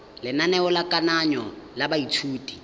lenaneo la kananyo ya baithuti